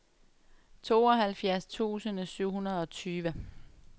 tooghalvfjerds tusind syv hundrede og tyve